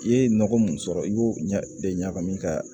I ye nɔgɔ mun sɔrɔ i b'o de ɲagami ka